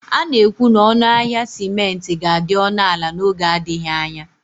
A na-ekwu na ọnụ ahịa simenti ga-adị ọnụ ala n'oge adịghị anya